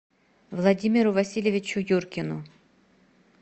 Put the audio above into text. владимиру васильевичу юркину